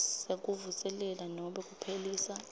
sekuvuselela nobe kuphelisa